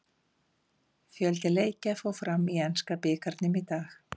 Fjöldi leikja fór fram í enska bikarnum í dag.